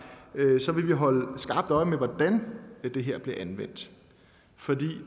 vil vi holde skarpt øje med hvordan det her bliver anvendt for